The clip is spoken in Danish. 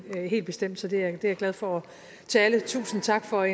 helt bestemt så det er glad for til alle tusind tak for